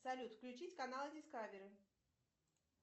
салют включить канал дискавери